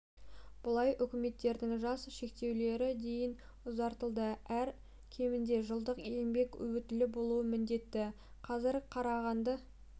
былай үміткерлердің жас шектеулері дейін ұзартылды әрі кемінде жылдық еңбек өтілі болуы міндетті қазір қарағанды